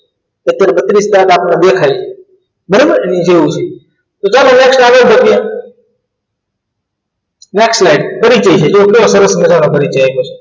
Chepter બત્રીશ આપણા દાંત દેખાય છે બરાબર એની જેવું છે ની next light પ્રક્રિયા next light તરીકે છે જો કેવો સરસ મજાનો પરિચય આપ્યો છે